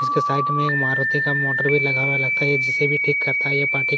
इसके साइट में एक मारुति का मोटर भी लगा हुआ है जिसे भी ठीक करता है ये पाठीक --